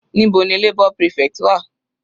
Níbo ni labour prefect wà?